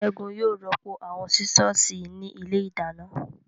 Ségun yóò rọ́pò àwọn Sísọ̀sì ní ilé ìdáná